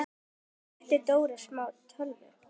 Þar flutti Dóra smá tölu.